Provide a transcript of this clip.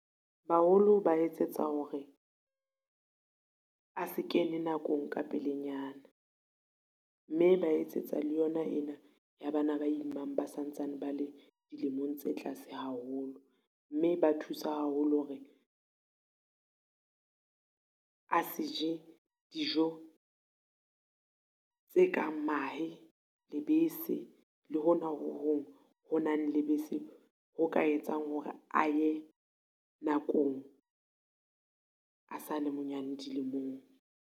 Baholo ba etsetsa hore, a se kene nakong ka pelenyana, mme ba etsetsa le yona ena ya bana ba imang ba sa ntsane ba le dilemong tse tlase haholo. Mme ba thusa haholo hore a se je dijo tse kang mahe, lebese le hona ho hong ho nang lebese, ho ka etsang hore a ye nakong a sa le monyane dilemong.